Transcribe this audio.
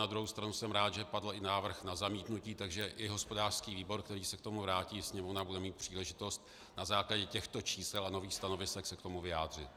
Na druhou stranu jsem rád, že padl i návrh na zamítnutí, takže i hospodářský výbor, který se k tomu vrátí, Sněmovna bude mít příležitost na základě těchto čísel a nových stanovisek se k tomu vyjádřit.